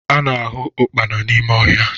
A na-ahụ ụkpana n'ime ọhịa